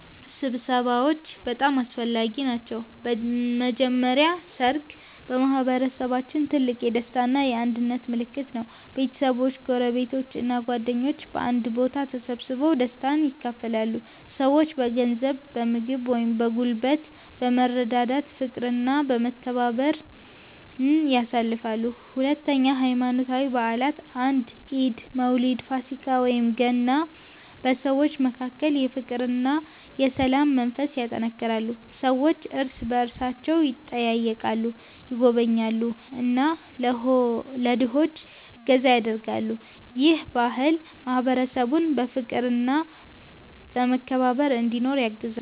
ስብሰባዎች በጣም አስፈላጊ ናቸው። በመጀመሪያ ሠርግ በማህበረሰባችን ትልቅ የደስታ እና የአንድነት ምልክት ነው። ቤተሰቦች፣ ጎረቤቶች እና ጓደኞች በአንድ ቦታ ተሰብስበው ደስታን ያካፍላሉ። ሰዎች በገንዘብ፣ በምግብ ወይም በጉልበት በመረዳዳት ፍቅርና መተባበርን ያሳያሉ። ሁለተኛ ሃይማኖታዊ በዓላት እንደ ኢድ፣ መውሊድ፣ ፋሲካ ወይም ገና በሰዎች መካከል የፍቅርና የሰላም መንፈስ ያጠናክራሉ። ሰዎች እርስ በእርሳቸው ይጠያየቃሉ፣ ይጎበኛሉ እና ለድሆች እገዛ ያደርጋሉ። ይህ ባህል ማህበረሰቡን በፍቅርና በመከባበር እንዲኖር ያግዛል።